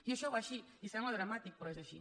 i això va així i sembla dramàtic però és així